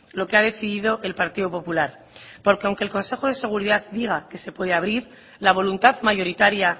lo que ha decidido el partido popular porque aunque el consejo de seguridad diga que se puede abrir la voluntad mayoritaria